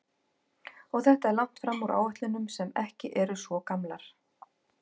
Og þetta er langt fram úr áætlunum sem ekki eru svo gamlar?